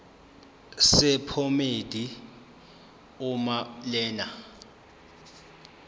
sephomedi uma lena